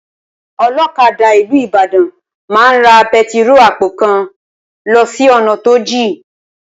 Olókadà ìlú Ìbàdàn máa ra pẹtiro àpò kan lọ sí ònà tó jìn